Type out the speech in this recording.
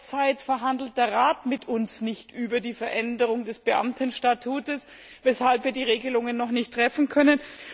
Derzeit verhandelt der Rat mit uns nicht über die Veränderung des Beamtenstatuts, weshalb wir die Regelungen noch nicht treffen können.